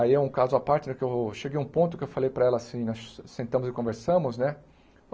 Aí é um caso à parte né que eu cheguei a um ponto que eu falei para ela assim, nós sentamos e conversamos, né?